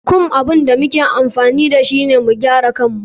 Comb abun da muke amfani dashu ne mu gyara kayin mu.